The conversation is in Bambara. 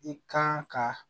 I kan ka